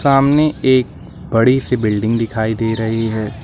सामने एक बड़ी सी बिल्डिंग दिखाई दे रही है।